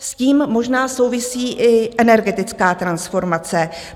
S tím možná souvisí i energetická transformace.